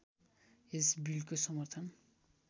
यस बिलको समर्थन